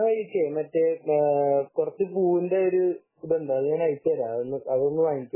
വരുന്ന വഴിക്ക് കുറച്ചു പൂവിന്റെ മറ്റേ ഇതുണ്ട് അത് ഞാൻ അയച്ചുതരാം. അതൊന്നു വാങ്ങിച്ചോ